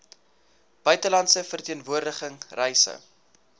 buitelandse verteenwoordiging reise